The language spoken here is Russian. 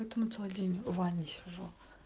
ваня сижу